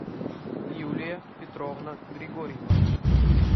юлия петровна григорьева